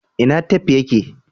ina tef ya ke?